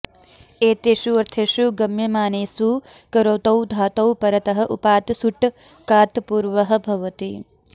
एतेष्वर्थेषु गम्यमानेसु करोतौ धातौ परतः उपात् सुट् कात् पूर्वः भवति